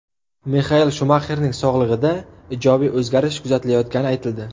Mixael Shumaxerning sog‘lig‘ida ijobiy o‘zgarish kuzatilayotgani aytildi.